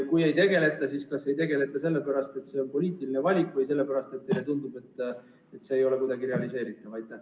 Kui ei tegelda, siis kas sellepärast, et see on poliitiline valik, või sellepärast, et teile tundub, et see ei ole kuidagi realiseeritav?